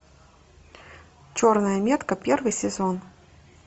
черная метка первый сезон